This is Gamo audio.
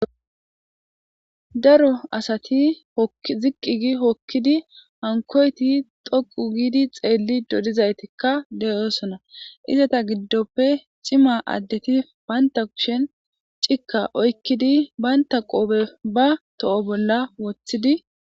Daro asati ziqqigi hokkidi hankoyti thoqu giidi xeelli dodizaytikka deyoosona izata giddoppe cima addeti baynta kushen cikka oykkidi baynta qoobe ba to'o bolla woththidi.